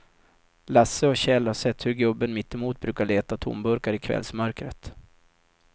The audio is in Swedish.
Lasse och Kjell har sett hur gubben mittemot brukar leta tomburkar i kvällsmörkret.